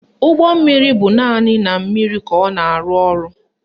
Ụgbọmmiri bụ naanị na mmiri ka ọ na-arụ ọrụ